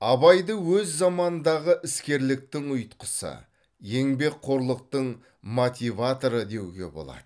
абайды өз заманындағы іскерліктің ұйытқысы еңбекқорлықтың мотиваторы деуге болады